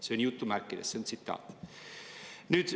See on jutumärkides, see on tsitaat.